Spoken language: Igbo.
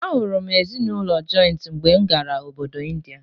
A hụrụ m ezinụlọ jọịntị mgbe m gara obodo Ịndịa.